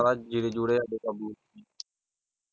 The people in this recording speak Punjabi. ਤੈਨੂੰ ਪਤਾ ਜੀਰੇ ਜੂਰੇ ਸਾਡੇ ਕਾਬੂ .